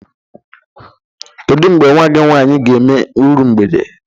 Kedụ mgbe nwa gi nwaanyi ga-eme irụ mgbede?